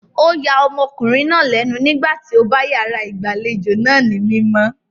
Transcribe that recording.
O ya ọmọkùnrin náà lénu nígbà tí ó bá yàrá ìgbàlejò náà ní mímọ́.